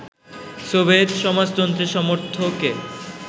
Soviet সমাজতন্ত্রের সমর্থকে